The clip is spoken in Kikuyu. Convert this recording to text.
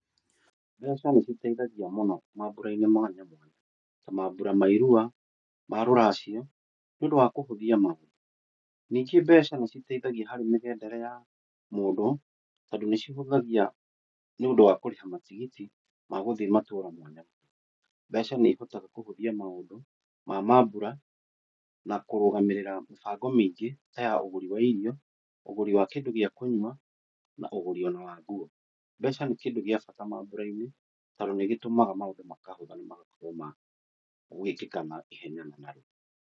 Mbeca nĩciteithagia mũno mambũra-inĩ mwanya mwanya , ta mambũra ma irua, ma rũracio, nĩũndũ wa kũhũthia maũndũ. Ningĩ mbeca nĩciteithagia harĩ mĩgendere ya mũndũ, tondũ nĩcihũthagia nĩũndũ wa kũrĩha matigiti magũthiĩ matura mwanya mwanya. Mbeca nĩcihotaga kũhũthia maũndũ ma mambũra na kũrũgamĩrĩra mĩbango mĩingĩ taya ũgũri wa irio, ũgũri wa kĩndũ gĩa kũnyua, na ũgũri ona wa nguo. Mbeca nĩ kindũ gĩa bata mambũra-inĩ tondũ nĩgĩtũmaga maũndũ makahũtha na magakorwo magũĩkĩka na ihenya na narua.